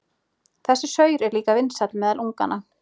Þessi saur er líka vinsæll meðal unganna.